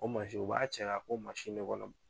O u b'a cɛ ka k'o de kɔnɔ.